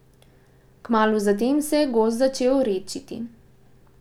Kmalu zatem se je gozd začel redčiti.